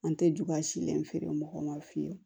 An tɛ ju ka silen feere mɔgɔw ma fiyewu